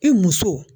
I muso